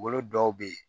Bolo dɔw be yen